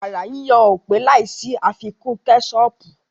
Wàrà yíyon ò pé láì sí àfikún kẹ́sọọ̀pù